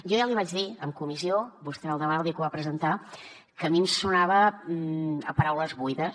jo ja l’hi vaig dir en comissió vostè era al davant el dia que ho va presentar que a mi em sonava a paraules buides